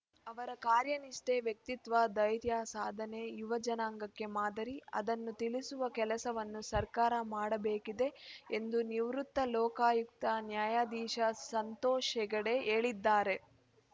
ಅವರ ಕಾರ್ಯನಿಷ್ಠೆ ವ್ಯಕ್ತಿತ್ವ ಧೈರ್ಯ ಸಾಧನೆ ಯುವ ಜನಾಂಗಕ್ಕೆ ಮಾದರಿ ಅದನ್ನು ತಿಳಿಸುವ ಕೆಲಸವನ್ನು ಸರ್ಕಾರ ಮಾಡಬೇಕಿದೆ ಎಂದು ನಿವೃತ್ತ ಲೋಕಾಯುಕ್ತ ನ್ಯಾಯಧೀಶ ಸಂತೋಷ್‌ ಹೆಗ್ಡೆ ಹೇಳಿದ್ದಾರೆ